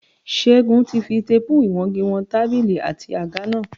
Ṣégun ti fi téèpù ìwọngi wọn tábìlì àti àga náà